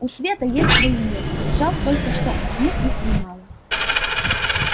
у света есть свои методы жаль только что и у тьмы их немало